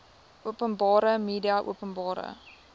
openbare media openbare